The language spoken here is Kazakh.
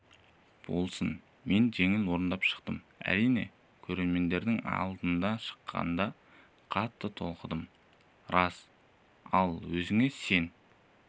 болсын мен жеңіл орындап шықтым әрине көрерменнің алдына шыққанда қатты толқығаным рас ал өзіңе сен